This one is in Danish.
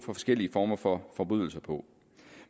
forskellige former for forbrydelser på